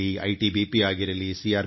ಐಟಿಬಿಪಿಸಿಆರ್